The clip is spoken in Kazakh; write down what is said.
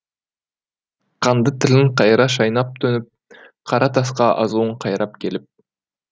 қанды тілін қайыра шайнап төніп қара тасқа азуын қайрап келіп